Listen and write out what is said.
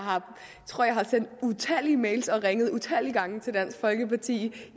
tror jeg har sendt utallige mails og ringet utallige gange til dansk folkeparti